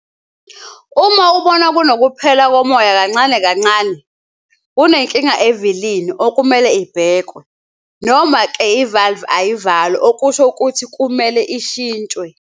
Uma ubona kunokuphela komoya kancane kancane, kunenkinga evilini okumele ibhekwe, noma-ke ivalve ayivali okusho ukuthi kumele ishintshwe.